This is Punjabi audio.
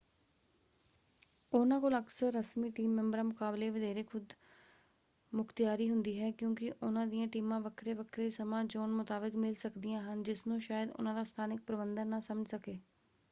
ਉਹਨਾਂ ਕੋਲ ਅਕਸਰ ਰਸਮੀ ਟੀਮ ਮੈਂਬਰਾਂ ਮੁਕਾਬਲੇ ਵਧੇਰੇ ਖ਼ੁਦਮੁਖ਼ਤਿਆਰੀ ਹੁੰਦੀ ਹੈ ਕਿਉਂਕਿ ਉਹਨਾਂ ਦੀਆਂ ਟੀਮਾਂ ਵੱਖਰੇ-ਵੱਖਰੇ ਸਮਾਂ-ਜ਼ੋਨ ਮੁਤਾਬਕ ਮਿਲ ਸਕਦੀਆਂ ਹਨ ਜਿਸਨੂੰ ਸ਼ਾਇਦ ਉਹਨਾਂ ਦਾ ਸਥਾਨਕ ਪ੍ਰਬੰਧਨ ਨਾ ਸਮਝ ਸਕੇ।